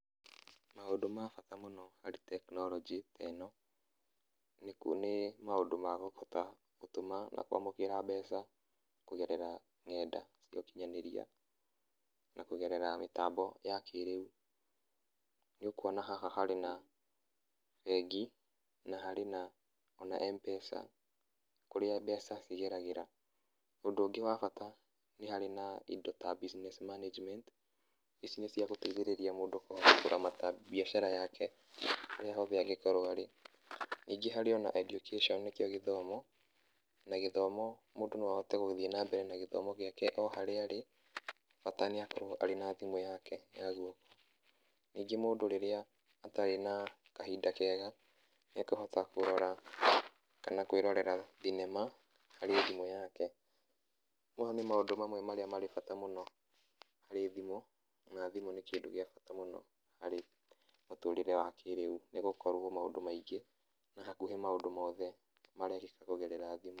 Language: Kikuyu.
Maũndũ ma bata mũno harĩ technology teno, nĩku, nĩ maũndũ ma kũhota gũtũma na kwamũkĩra mbeca kũgerera ng'enda cia ũkinyanĩria, na kũgerera mĩtambo ya kĩrĩu. Nĩũkuona haha harĩ na bengi na harĩ na ona M-Pesa, kũrĩa mbeca cigeragĩra. Ũndũ ũngĩ wa bata, nĩ harĩ na indo ta Business Management, ici nĩ cia gũteithĩrĩrĩa mũndũ kũramata mbiacara yake, harĩa hothe angĩkorwo arĩ. Nĩngĩ harĩ ona education nĩkĩo gĩthomo. Na gĩthomo mũndũ no ahote gũthiĩ na mbere na gĩthomo gĩake o harĩa arĩ, bata nĩakorwo arĩ na thimũ yake ya guoko. Ningĩ mũndũ rĩrĩa atarĩ na kahinda kega, nĩakũhota kũrora, kana kwĩrorera thinema harĩ thimũ yake. Mau nĩ maũndũ mamwe marĩa marĩ bata mũno, harĩ thimũ, na thimũ nĩ kĩndũ gĩa bata mũno harĩ mũtũrĩre wa kĩrĩu. Nĩgũkorwo maũndũ maingĩ na hakuhĩ maũndũ mothe marekĩka kũgerera thimũ.